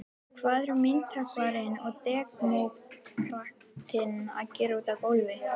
Hvað eru myndhöggvarinn og demókratinn að gera úti á gólfi.